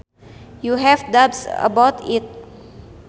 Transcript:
You have doubts about it